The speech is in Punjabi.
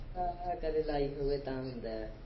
ਕਦੇ ਲਾਈ ਹੋਵੇ ਤਾਂ ਹੁੰਦਾ।